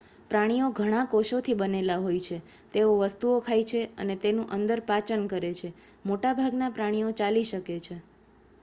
પ્રાણીઓ ઘણા કોષોથી બનેલા હોય છે તેઓ વસ્તુઓ ખાય છે અને તેનું અંદર પાચન કરે છે મોટાભાગના પ્રાણીઓ ચાલી શકે છે